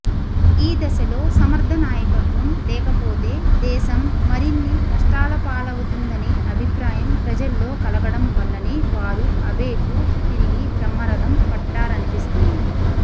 ఈ దశలో సమర్థనాయకత్వం లేకపోతేదేశం మరిన్ని కష్టా లపాలవ్ఞతుందనే అభిప్రాయం ప్రజల్లోకలగడం వల్లనే వారు అబేకు తిరిగి బ్రహ్మరథం పట్టారనిపిస్తుంది